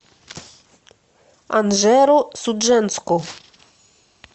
анжеро судженску